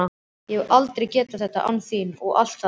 Ég hefði aldrei getað þetta án þín og allt það.